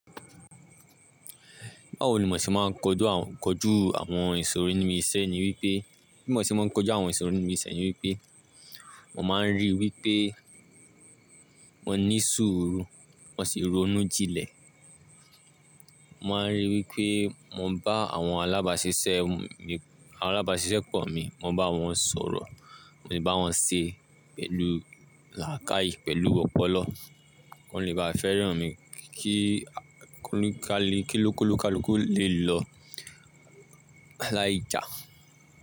Báwo ni mo ṣe máa ń kọjú àwọn ìṣòro inú ìṣẹ́ ni wípé, bí mo ṣe máa ń kojú àwọn ìṣòro inú ìṣẹ́ ni wípé, mo máa ń rí i wípé mo ní sùúrù, mo sì ronú jí lẹ̀. Mo máa ń rí i wípé mo ń bá àwọn alábáṣiṣẹ́ mi, àwọn alábáṣiṣẹ́ pọ̀ mi, mo ń bá wọn sọ̀rọ̀, mo sì ń bá wọn ṣe pẹ̀lú làákàyè, pẹ̀lú ọpọlọ. Wọn lè bá fẹ́ràn mi kí kálúkú lè lọ láì jà.